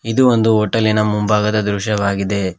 ಇದು ಒಂದು ಹೋಟೆಲಿನ ಮುಂಭಾಗದ ದೃಶ್ಯವಾಗಿದೆ.